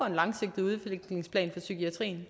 en langsigtet udvikling for psykiatrien